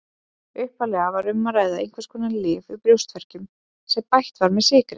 Upphaflega var um að ræða einhvers konar lyf við brjóstverkjum sem bætt var með sykri.